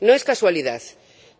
No es casualidad,